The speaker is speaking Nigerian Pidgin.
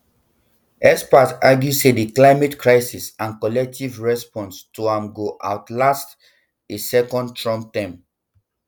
experts argue say di climate crisis and collective response to am go outlast a second trump term